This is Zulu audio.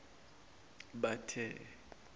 bathe